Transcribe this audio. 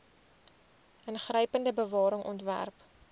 ingrypende bewaring ontwerp